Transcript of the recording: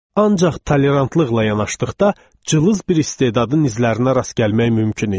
Ancaq tolerantlıqla yanaşdıqda cılız bir istedadın izlərinə rast gəlmək mümkün idi.